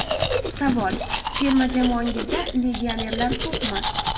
Savol: Terma jamoangizda legionerlar ko‘pmi?